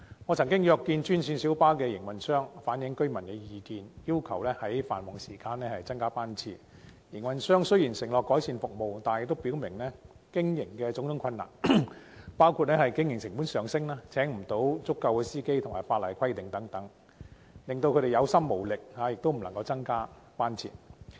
我曾經約見專線小巴營運商，反映居民的意見，要求在繁忙時段增加班次，但營運商雖然承諾改善服務，亦表明有種種經營困難，包括經營成本上升、未能聘請足夠司機及法例規限等，令他們感到有心無力，無法增加班次。